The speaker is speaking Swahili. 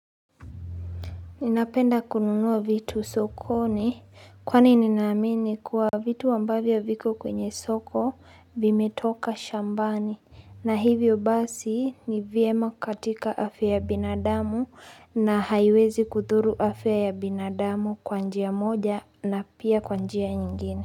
Ninapenda kununua vitu sokoni kwani ninaamini kuwa vitu ambavyo viko kwenye soko vimetoka shambani na hivyo basi nivyema katika afya ya binadamu na haiwezi kuturu afya ya binadamu kwanjia moja na pia kwanjia nyingine.